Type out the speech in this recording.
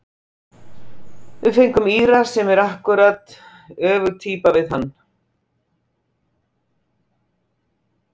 Við fengum Íra sem er akkúrat öfug týpa við hann.